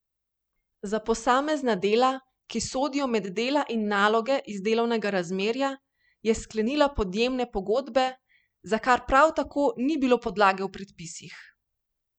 Za posamezna dela, ki sodijo med dela in naloge iz delovnega razmerja, je sklenila podjemne pogodbe, za kar prav tako ni bilo podlage v predpisih.